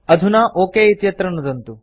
अधुना ओक इत्यत्र नुदन्तु